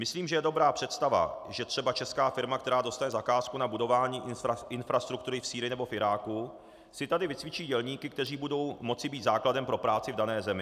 Myslím, že je dobrá představa, že třeba česká firma, která dostane zakázku na budování infrastruktury v Sýrii nebo v Iráku, si tady vycvičí dělníky, kteří budou moci být základem pro práci v dané zemi.